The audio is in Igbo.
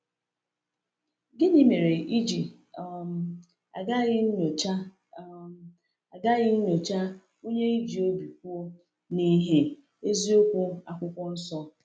Gịnị mere i ji um agaghị nyochaa um agaghị nyochaa onye i ji obi kwụ n’ìhè eziokwu Akwụkwọ Nsọ?